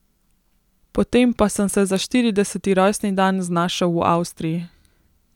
Potem pa sem se za štirideseti rojstni dan znašel v Avstriji.